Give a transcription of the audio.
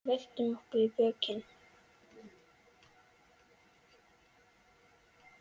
Veltum okkur á bökin.